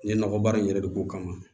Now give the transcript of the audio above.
N ye nɔgɔ baara in yɛrɛ de k'o kama